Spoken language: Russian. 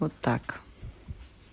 вот так